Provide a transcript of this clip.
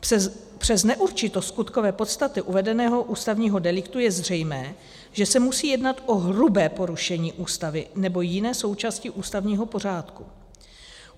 Přes neurčitost skutkové podstaty uvedeného ústavního deliktu je zřejmé, že se musí jednat o hrubé porušení Ústavy nebo jiné součásti ústavního pořádku.